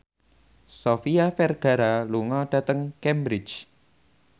Sofia Vergara lunga dhateng Cambridge